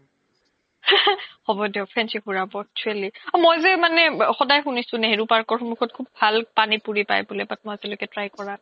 হ্'ব দিওক fancy ঘুৰাব actually মই যে মানে সদাই সুনিছো নেহৰু park ৰ সন্মুহ্খ্যোত খুব ভাল পানি পোৰি পাই বুলে মই আজিলৈকে try কৰা নাই